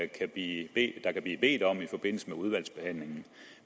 der blive bedt om i forbindelse med udvalgsbehandlingen